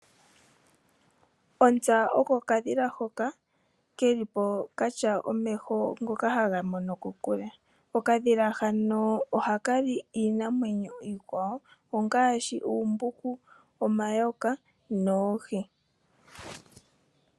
Ontsa oko okadhila hoka keli po katya omeho ngoka haga mono kokule. Okadhila hano ohaka li iinamwenyo iikwawo ngaashi oombuku, omayoka noohi.